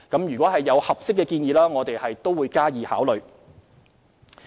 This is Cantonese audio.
如有合適建議，我們會加以考慮。